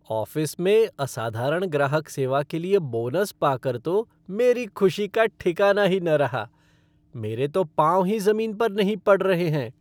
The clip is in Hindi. ऑफ़िस में असाधारण ग्राहक सेवा के लिए बोनस पाकर तो मेरी ख़ुशी का ठिकाना ही न रहा। मेरे तो पाँव ही ज़मीन पर नहीं पड़ रहे हैं।